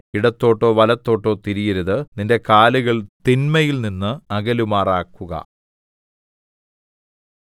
ഇടത്തോട്ടോ വലത്തോട്ടോ തിരിയരുത് നിന്റെ കാലുകൾ തിന്മയിൽനിന്ന് അകലുമാറാക്കുക